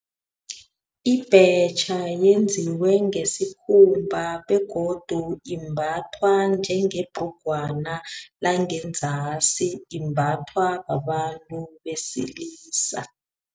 Ibhetjha yenziwe ngesikhumba, begodu imbathwa njengebhrugwana kodwana langengenzasi imbathwa babantu besilisa.